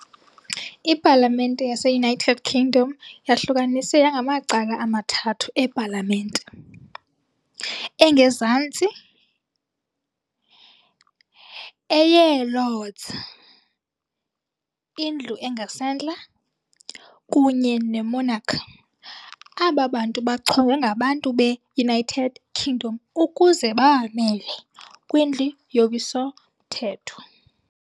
ipalamente yase-United Kingdom yahlukaniswe yangamacala amathathu epalamente, ] engezantsi, eyee-lordss, indlu engasentla, kunye ne-Monarch. Aba bantu bachongwe ngabantu be-United Kingdom ukuze babamele kwindlu yowiso mthetho.